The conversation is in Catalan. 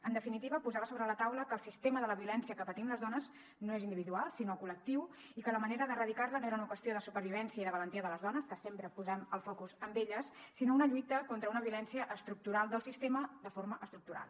en definitiva posava sobre la taula que el sistema de la violència que patim les dones no és individual sinó col·lectiu i que la manera d’erradicar la no era una qüestió de supervivència i de valentia de les dones que sempre posem el focus en elles sinó una lluita contra una violència estructural del sistema de forma estructural